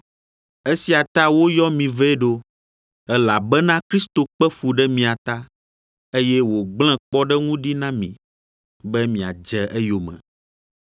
Esia ta woyɔ mi vɛ ɖo, elabena Kristo kpe fu ɖe mia ta, eye wògblẽ kpɔɖeŋu ɖi na mi, be miadze eyome.